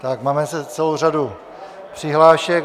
Tak mám zase celou řadu přihlášek.